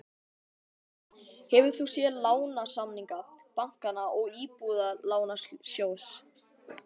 Þóra: Hefur þú séð lánasamninga bankanna og Íbúðalánasjóðs?